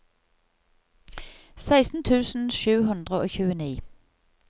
seksten tusen sju hundre og tjueni